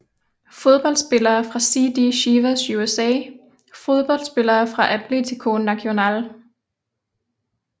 Fodboldspillere fra CD Chivas USA Fodboldspillere fra Atlético Nacional